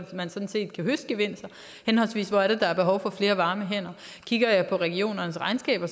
man sådan set kan høste gevinster henholdsvis hvor der er behov for flere varme hænder kigger jeg på regionernes regnskaber